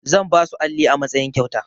Zan basu alli a matsayin kyauta.